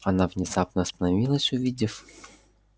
она внезапно остановилась увидев